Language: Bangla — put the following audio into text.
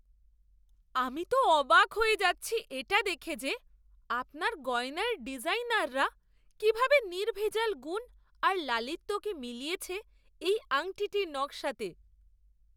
আমি তো অবাক হয়ে যাচ্ছি এটা দেখে যে আপনার গয়নার ডিজাইনাররা কীভাবে নির্ভেজাল গুণ আর লালিত্যকে মিলিয়েছে এই আংটির নকশাতে!